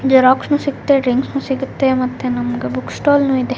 ಜೆರಾಕ್ಸ್ನು ಸಿಗುತ್ತೆ ಡ್ರಿಂಕ್ಸ್ ಸಿಗುತ್ತೆ ಮತ್ತೆ ನಮ್ಗೆ ಬುಕ್ ಸ್ಟಾಲ್ನು ಇದೆ.